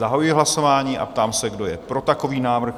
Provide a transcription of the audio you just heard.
Zahajuji hlasování a ptám se, kdo je pro takový návrh?